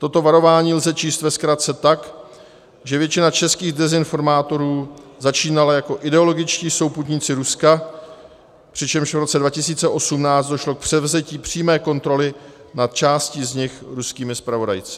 Toto varování lze číst ve zkratce tak, že většina českých dezinformátorů začínala jako ideologičtí souputníci Ruska, přičemž v roce 2018 došlo k převzetí přímé kontroly nad částí z nich ruskými zpravodajci.